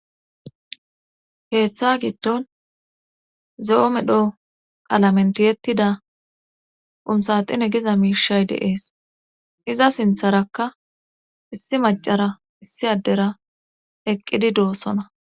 heeththa giddon zoome dhoo qalamentiyettida qumsaxine giza miishay deees iza sintharakka issi macara issi addera eqqidi doossona